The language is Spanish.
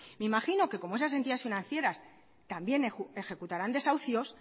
me imagino que como esas entidades financieras también ejecutarán desahucios